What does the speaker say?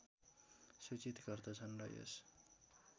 सूचित गर्दछन् र यस